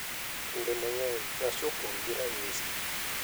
Kinde mang’eny, nyasi opong’ gi ranyisi,